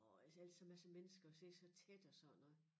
Og ellers så ellers så masse mennesker og sidder så tæt og sådan noget